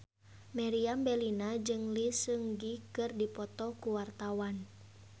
Meriam Bellina jeung Lee Seung Gi keur dipoto ku wartawan